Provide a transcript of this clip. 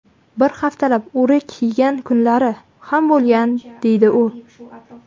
Bir haftalab o‘rik yegan kunlari ham bo‘lgan, deydi u.